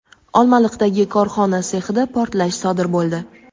Olmaliqdagi korxona sexida portlash sodir bo‘ldi.